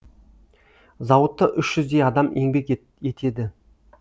зауытта үш жүздей адам еңбек етеді